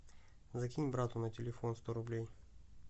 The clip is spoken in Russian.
закинь брату на телефон сто рублей